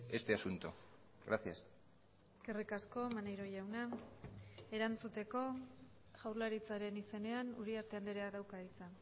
este asunto gracias eskerrik asko maneiro jauna erantzuteko jaurlaritzaren izenean uriarte andreak dauka hitza